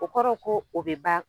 O kɔrɔ ko o be ban